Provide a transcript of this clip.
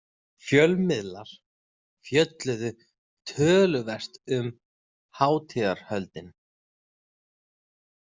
Fjölmiðlar fjölluðu töluvert um hátíðahöldin.